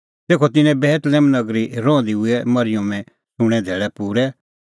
तेखअ तिन्नें बेतलेहम नगरी रहंदी हुऐ मरिअमे सूंणें धैल़ै पूरै